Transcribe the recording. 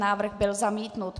Návrh byl zamítnut.